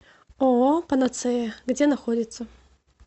ооо панацея где находится